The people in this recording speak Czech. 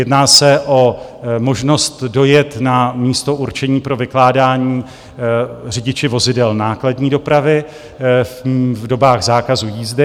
Jedná se o možnost dojet na místo určení pro vykládání řidiči vozidel nákladní dopravy v dobách zákazu jízdy.